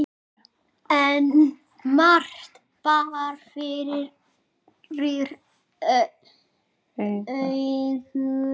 En margt bar fyrir augu.